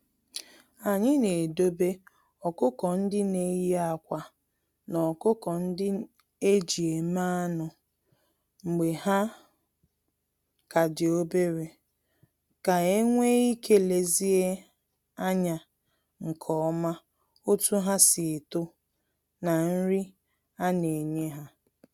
Anyị na edobe ọkụkọ-ndị-neyi-ákwà, na ọkụkọ-ndị-eji-eme-anụ mgbe ha ka di obere, ka enwee ike lezie anya nke oma otu ha si eto, na nri a na enye ha.